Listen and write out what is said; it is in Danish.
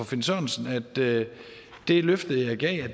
finn sørensen at det det løfte jeg gav